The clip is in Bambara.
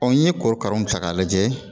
n ye korokaraw ta k'a lajɛ